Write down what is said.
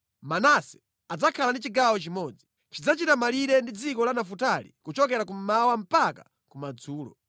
“Manase adzakhala ndi chigawo chimodzi. Chidzachita malire ndi dziko la Nafutali kuchokera kummawa mpaka kumadzulo.